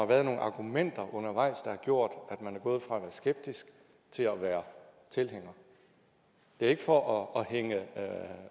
været nogle argumenter undervejs der har gjort at man er gået fra at være skeptisk til at være tilhænger det er ikke for at hænge